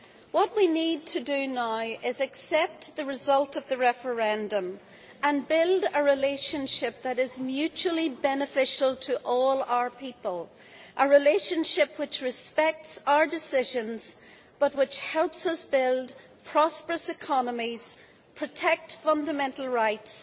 What we need to do now is accept the result of the referendum and build a relationship that is mutually beneficial to all our people, a relationship which respects our decisions, but which helps us build prosperous economies, protect fundamental rights